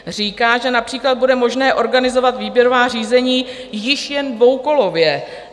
Říká, že například bude možné organizovat výběrová řízení již jen dvoukolově.